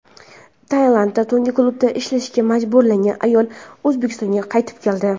Tailandda tungi klubda ishlashga majburlangan ayol O‘zbekistonga qaytib keldi.